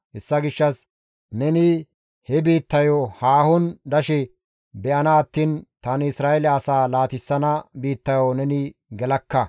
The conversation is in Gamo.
Hessa gishshas neni he biittayo haahon dashe be7ana attiin tani Isra7eele asaa laatissana biittayo neni gelakka.»